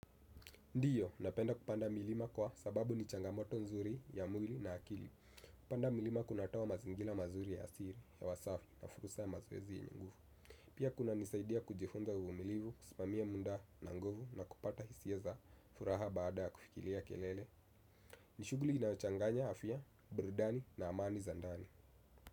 Ndio, napenda kupanda milima kwa sababu ni changamoto nzuri ya mwili na akili. Kupanda milima kunatoa mazingira mazuri ya asili, hewa safi, na fursa ya mazoezi yenye nguvu. Pia kunanisaidia kujifunza uvumilivu, kusimamia muda na nguvu na kupata hisia za furaha baada ya kufikiria kelele. Ni shughuli inaochanganya afya, burudani na amani za ndani.